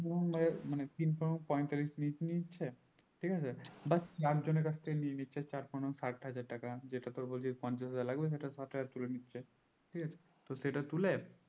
এই রকম ধর তিন পনেরুন পঁয়তাল্লিশ নি নিচ্ছে ঠিক আছে but একজনের কাছ থেকে নিয়ে নিচ্ছে চার পনেরুন ষাটহাজার টাকা যেটা তোর বলছি পঞ্চাশ হাজার লাগবে সেটা ষাট হাজার তুলে নিচ্ছে ঠিক আছে তো সেটা তুলে